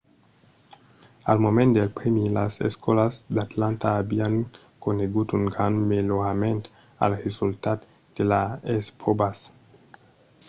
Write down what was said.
al moment del prèmi las escòlas d’atlanta avián conegut un grand melhorament als resultats de las espròvas